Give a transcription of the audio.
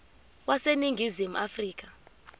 wase ningizimu afrika